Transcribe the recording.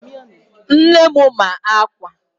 Nne m ma-akwa